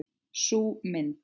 Sú mynd.